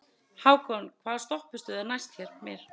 Hákon, hvaða stoppistöð er næst mér?